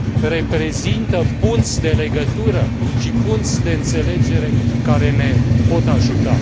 reprezintă punți de legătură și punți de înțelegere care ne pot ajuta.